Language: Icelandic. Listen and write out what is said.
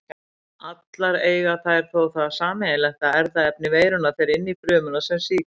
Allar eiga þær þó það sameiginlegt að erfðaefni veirunnar fer inn frumuna sem sýkist.